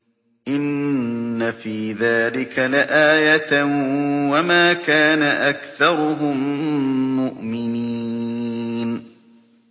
إِنَّ فِي ذَٰلِكَ لَآيَةً ۖ وَمَا كَانَ أَكْثَرُهُم مُّؤْمِنِينَ